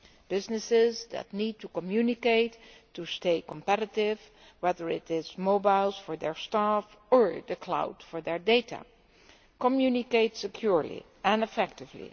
Businesses that need to communicate to stay competitive whether it is mobiles for their staff or the cloud for their data to communicate securely and effectively.